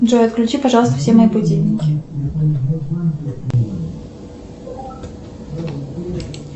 джой отключи пожалуйста все мои будильники